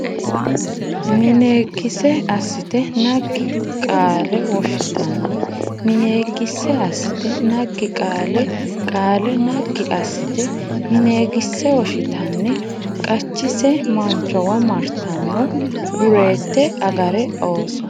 mineegisse assite naggi Qaale woshshitanni mineegisse assite naggi Qaale Qaale naggi assite mineegisse woshshitanni qachise manchowa martanno Dureette Agarre ooso !